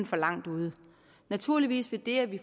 for langt ude naturligvis vil det at vi